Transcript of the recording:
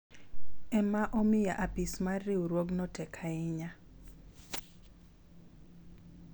ema omiyo apis mar riwruogno tek ahinya